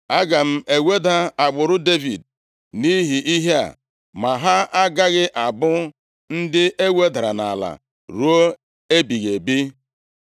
Aga m eweda agbụrụ Devid nʼihi ihe a, ma ha agaghị abụ ndị e wedara nʼala ruo ebighị ebi.’ ”